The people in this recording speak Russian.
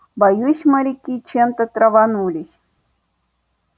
боюсь моряки чем-то траванулись